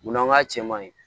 Munna ŋ'a cɛ man ɲi